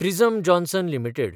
prism Johnson limited